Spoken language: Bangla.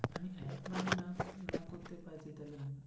বলিস